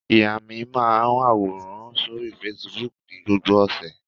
Ìyá mi máa àwòrán sórí Facebook ní gbogbo ọ̀sẹ̀.